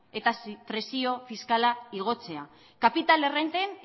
eta presio fiskala igotzea kapital errenten